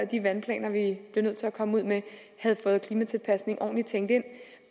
de vandplaner vi bliver nødt til at komme ud med havde fået klimatilpasning ordentligt tænkt ind